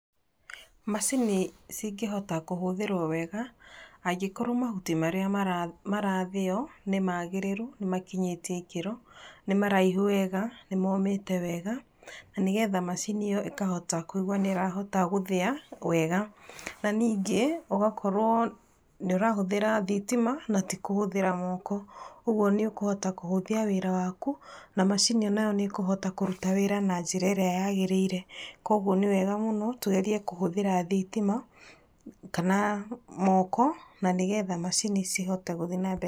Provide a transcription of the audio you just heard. Macini cingĩhota kũhũthĩrwo wega, angĩkorwo mahuti marĩa marathĩo, nĩ magĩrĩru, nĩ makinyĩtie ikĩro, nĩ maraihu wega, nĩ momĩte wega, na nĩgetha macini ĩyo ĩkahota kũigwa nĩ ĩrahota gũthĩa wega, na ningĩ ũgakorwo nĩ ũrahũthĩra thitima na ti kũhũthĩra moko, ũguo nĩ ũkũhota kũhũthia wĩra waku, na macini onayo nĩ ikũhota kũruta wira na njĩra ĩrĩa yagĩrĩire, kwoguo nĩ wega mũno tũgerie kũhũthĩra thitima, kana moko na nĩgetha macini cihote